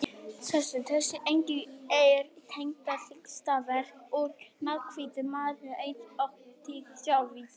Þessi engill er einstakt listaverk úr mjallhvítum marmara eins og þið sjáið.